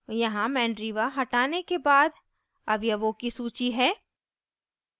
यहाँ mandriva हटाने के बाद अवयवों की सूची है